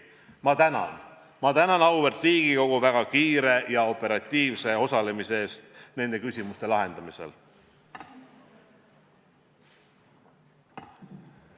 Ma tänan auväärt Riigikogu väga kiire ja operatiivse osalemise eest nende küsimuste lahendamises.